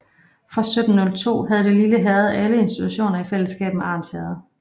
Fra 1702 havde det lille herred alle institutioner i fælleskab med Arns Herred